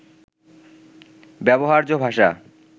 ব্যবহার্য ভাষা